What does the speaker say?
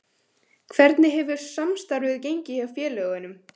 Hvernig hefur samstarfið gengið hjá félögunum?